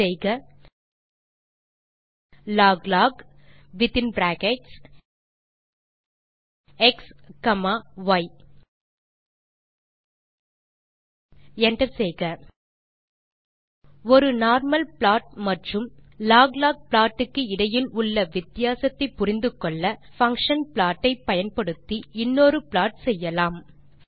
type செய்க log log within brackets x comma y hit enter ஒரு normal plot மற்றும் ஆ log லாக் ப்ளாட் க்கு இடையில் உள்ள வித்தியாசத்தை புரிந்து கொள்ள பங்ஷன் ப்ளாட் ஐ பயன்படுத்தி இன்னொரு ப்ளாட் செய்யலாம்